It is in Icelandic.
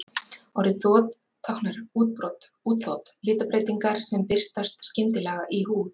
Orðið þot táknar útbrot, útþot, litabreytingar sem birtast skyndilega í húð.